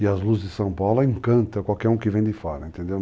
E as luzes de São Paulo, ela encanta qualquer um que vem de fora, entendeu?